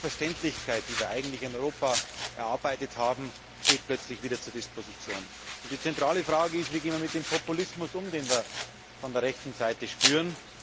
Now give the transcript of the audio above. Eine Selbstverständlichkeit, die wir in Europa erarbeitet haben, steht plötzlich wieder zur Disposition. Die zentrale Frage ist Wie gehen wir mit dem Populismus um, den wir von der rechten Seite spüren?